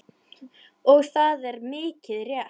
Og það er mikið rétt.